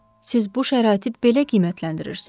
Siz bu şəraiti belə qiymətləndirirsiz?